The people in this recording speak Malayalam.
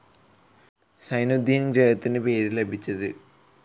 സൈനുദ്ദീന് ഗ്രഹത്തിന് പേരു ലഭിച്ച ത്.